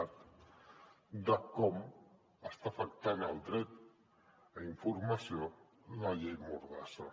cat de com està afectant el dret a informació la llei mordassa